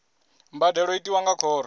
mbadelo i tiwa nga khoro